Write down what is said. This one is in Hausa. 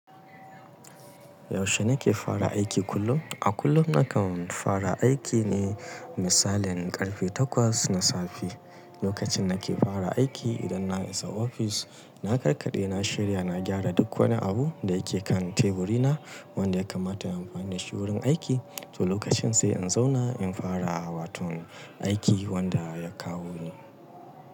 Yaushe nake fara aiki kullum? A kullum nakan fara aiki ne misalin ƙarfe takwas na safe. Lokacin nake fara aiki, idan na isa ofis, na karkaɗe, na shirya, na gyara duk wani abu da yake kan teburina wanda ya kamata in amfani da shi wurin aiki. To lokacin sai in zauna in fara waton aiki wanda ya kawo ni.